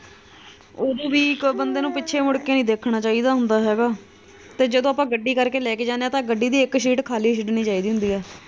ਓਦੋਂ ਵੀ ਇੱਕ ਬੰਦੇ ਨੂੰ ਪਿੱਛੇ ਮੁੜਕੇ ਨਹੀਂ ਦੇਖਣਾ ਹੁੰਦਾ ਹੈਗਾ ਤੇ ਜਦੋਂ ਆਪਾਂ ਗੱਡੀ ਕਰਕੇ ਲੈ ਕੇ ਜਾਂਦੀ ਆ ਤਾ ਤੇ ਗੱਡੀ ਦੀ ਇੱਕ ਸੀਟ ਖਾਲੀ ਛੱਡ ਨੀ ਚਾਹੀਦੀ ਹੁੰਦੀ ਹੈ।